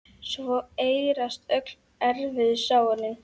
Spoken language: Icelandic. Svo eyðast öll erfiðu sárin.